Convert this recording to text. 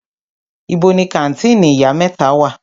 Ibo ni kàńtìnì Ìyá mẹ́ta wà?